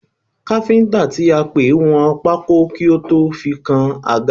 Káfíńtà tí a pè wọn pákó kí ó tó fi kan àga.